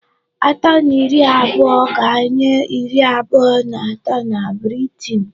Atọ na iri abụọga-enye iri abụọ na atọ na Britain.